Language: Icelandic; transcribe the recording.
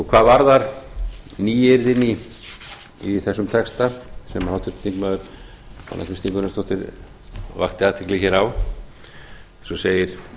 hvað varðar nýyrðin í þessum texta sem háttvirtur þingmaður anna kristín gunnarsdóttir vakti athygli á eins og